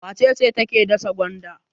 Wace ce take dasa gwanda?